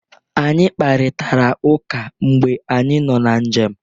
Anyị kparitara ụka mgbe anyị nọ na njem.